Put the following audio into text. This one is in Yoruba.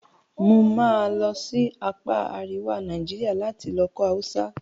Mo máa lọ sí apá àríwá Naijiria lati lọ kọ́ Hausa